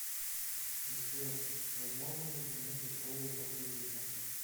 сбер возможно ли изменить условия по кредиту